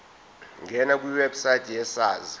ngena kwiwebsite yesars